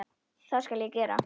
Það skal ég gera.